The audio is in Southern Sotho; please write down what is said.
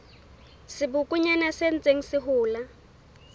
sebokonyana se ntseng se hola